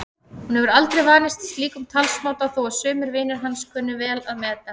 Hún hefur aldrei vanist slíkum talsmáta þó að sumir vinir hans kunni vel að meta.